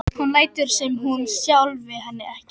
Hún lætur sem hún sjái hann ekki.